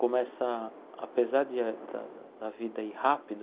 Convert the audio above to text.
Começa, apesar de a da da vida ir rápido,